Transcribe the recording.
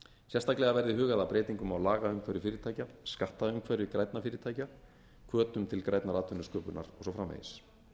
sérstaklega verði hugað að breytingum á lagaumhverfi fyrirtækja skattaumhverfi grænna fyrirtækja hvötum til grænnar atvinnusköpunar og svo framvegis